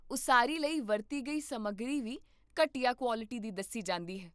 ਉਸਾਰੀ ਲਈ ਵਰਤੀ ਗਈ ਸਮੱਗਰੀ ਵੀ ਘਟੀਆ ਕੁਆਲਿਟੀ ਦੀ ਦੱਸੀ ਜਾਂਦੀ ਹੈ